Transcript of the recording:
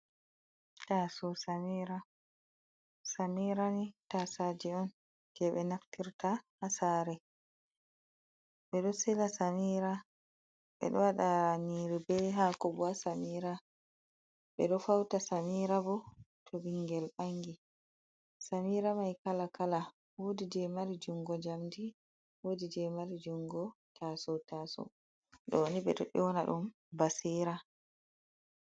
Tasowo samira ,samira ni tasaje'on jey ɓe naftirta haa saare. Ɓe ɗo sila samira ɓe ɗo waɗa nyiiri be haako haa samira. Ɓe ɗo fawta samira bo, to ɓinngel ɓangi ,samira may kala kala ,woodi jey mari junngo njamndi ,woodi jey mari junngo tasowo tasowo. Ɗoni ɓe ɗo nyoona ɗum basira.